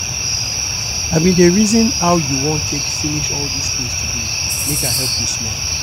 i bin dey reason how you wan take finish all dis things today make i help you small